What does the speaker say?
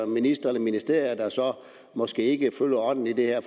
ministre eller ministerier der så måske ikke følger ånden i det her